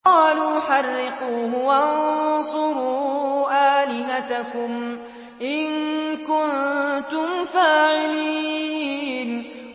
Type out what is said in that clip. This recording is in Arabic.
قَالُوا حَرِّقُوهُ وَانصُرُوا آلِهَتَكُمْ إِن كُنتُمْ فَاعِلِينَ